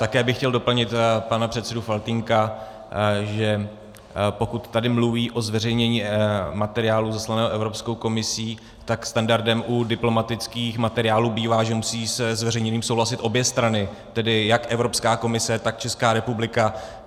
Také bych chtěl doplnit pana předsedu Faltýnka, že pokud tady mluví o zveřejnění materiálu zaslaného Evropskou komisí, tak standardem u diplomatických materiálů bývá, že musí se zveřejněním souhlasit obě strany, tedy jako Evropská komise, tak Česká republika.